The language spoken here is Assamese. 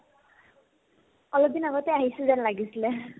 অলপদিন আগতে আহিছে যেন লাগিছিলে